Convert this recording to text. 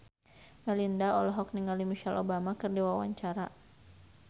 Melinda olohok ningali Michelle Obama keur diwawancara